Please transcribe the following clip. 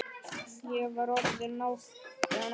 Ég var orðin átján ára.